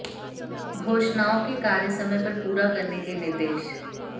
घोषणाओं के कार्य समय पर पूरा करने के निर्देश